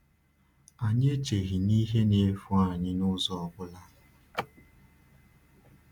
Anyị echeghị na ihe na-efu anyị n’ụzọ ọ bụla.